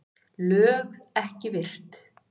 LÖG EKKI VIRT